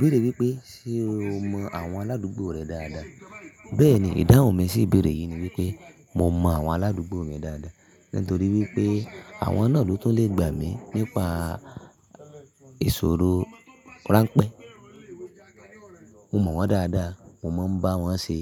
Bẹ̀ẹ́rẹ̀ wípé, ṣe o mọ àwọn aládùúgbò rẹ dáadáa? Bẹ́ẹ̀ni, ìdáhùn mi sì ìbéèrè yìí ni wípé mo mọ àwọn aládùúgbò mi dáadáa nítorí wípé àwọn náà ló tún lè gbà mí nípa ìṣòro ráńpẹ́. Mo mọ̀ wọ́n dáadáa, mo máa ń bá wọ́n ṣe,